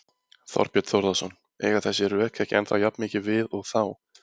Þorbjörn Þórðarson: Eiga þessi rök ekki ennþá jafn mikið við og þá?